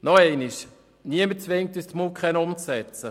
Noch einmal: Niemand zwingt uns, die MuKEn umzusetzen.